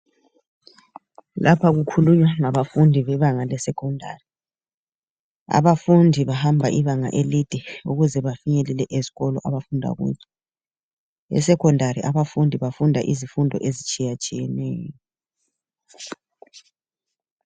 Lapha kukhulunywa ngabafundi bebanga le-secondary. Abafundi bahamba ibanga elide ukuze bafinyelele ezikolo abafunda kuzo. E-secondary abafundi bafunda izifundo ezitshiyatshiyeneyo.